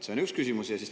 See on üks küsimus.